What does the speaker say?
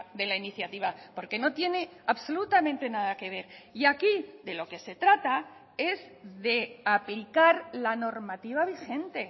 de la iniciativa porque no tiene absolutamente nada que ver y aquí de lo que se trata es de aplicar la normativa vigente